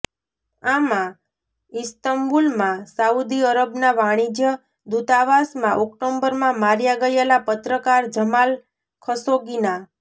આમાં ઈસ્તંબુલમાં સાઉદી અરબના વાણિજ્ય દૂતાવાસમાં ઓક્ટોબરમાં માર્યા ગયેલા પત્રકાર જમાલ ખશોગીના